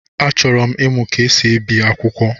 Achọrọ m ịmụ ka esi ebi akwụkwọ.